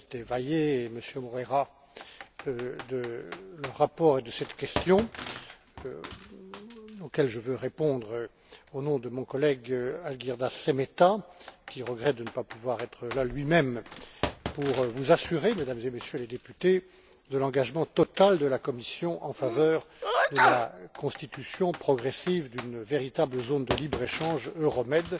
Menéndez del Valle et Moreira de ce rapport et de cette question, auxquels je veux répondre au nom de mon collègue, Algirdas Šemeta, qui regrette de ne pas pouvoir être là lui même pour vous assurer, Mesdames et Messieurs les députés, de l'engagement total de la Commission en faveur de la constitution progressive d'une véritable zone de libre échange euromed